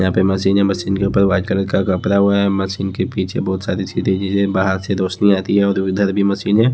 यहां पर मशीन है मशीन के ऊपर व्हाइट कलर का कपड़ा ओडा है मशीन के पीछे बहुत सारी चीजें गिरे है बाहर से रोशनी आती है और इधर भी मशीनें --